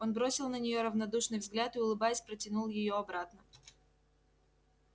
он бросил на неё равнодушный взгляд и улыбаясь протянул её обратно